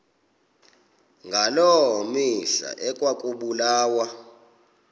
ngaloo mihla ekwakubulawa